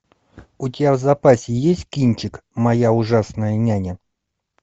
у тебя в запасе есть кинчик моя ужасная няня